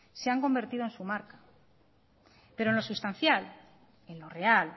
se han convertido en su marca pero en lo sustancial en lo real